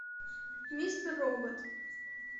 мистер робот